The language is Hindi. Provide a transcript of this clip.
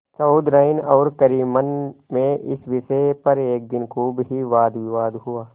चौधराइन और करीमन में इस विषय पर एक दिन खूब ही वादविवाद हुआ